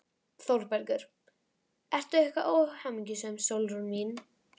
ÞÓRBERGUR: Ertu eitthvað óhamingjusöm, Sólrún mín?